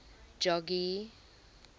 jogee